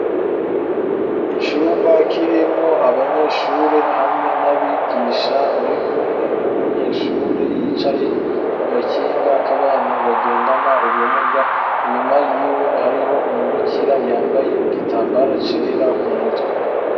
icumba kirimwo abanyeshure hamwe n'abigisha bari kumwe n'umunyeshure yicaye ku gakinga k'abantu bagendana ubumuga inyuma yiwe hariho umubikira yambaye igitambara cera ku mutwe